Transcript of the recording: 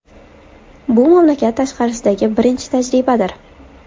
Bu mamlakat tashqarisidagi birinchi tajribadir.